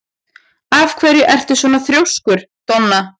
Af hverju ertu svona þrjóskur, Donna?